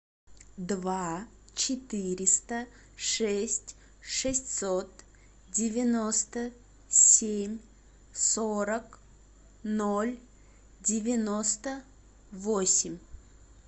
два четыреста шесть шестьсот девяносто семь сорок ноль девяносто восемь